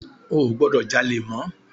O ò gbọdọ̀ jalè mọ́.